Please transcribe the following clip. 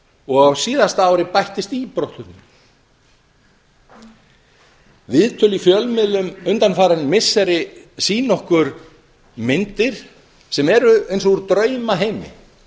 og á síðasta ári bættist í brottflutninginn viðtöl í fjölmiðlum undanfarin missiri sýna okkur myndir sem eru eins og úr draumaheimi